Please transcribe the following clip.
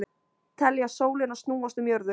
Telja sólina snúast um jörðu